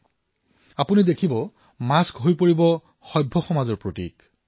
আপোনালোকে লক্ষ্য কৰিব মাস্ক সভ্য সমাজৰ প্ৰতীকলৈ পৰিৱৰ্তিত হব